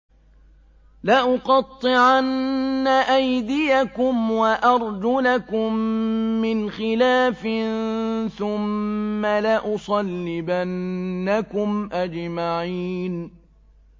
لَأُقَطِّعَنَّ أَيْدِيَكُمْ وَأَرْجُلَكُم مِّنْ خِلَافٍ ثُمَّ لَأُصَلِّبَنَّكُمْ أَجْمَعِينَ